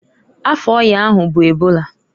Afa ọya ahụ bụ ebola.